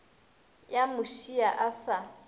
ya mo šia a sa